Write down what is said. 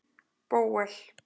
Bóel